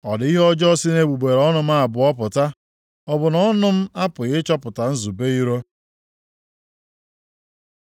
Ọ dị ihe ọjọọ si nʼegbugbere ọnụ m abụọ pụta? Ọ bụ na ọnụ m apụghị ịchọpụta nzube iro?